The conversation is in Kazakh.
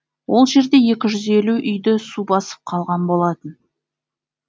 ол жерде екі жүз елу үйді су басып қалған болатын